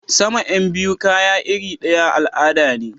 Sama Yan biyu kaya irir daya al'ada ne.